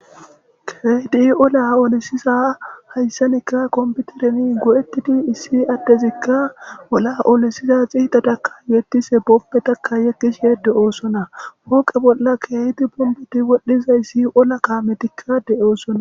Kredi ola olisiza hayssanekka kombutereni go7ettidi issi addezikka ola olesiza xiidadakka yettise boppe takka yekkish yedde oosona pooqe bolla keeyti punbuti wodhdhizayssi ola kaametikka de7oosona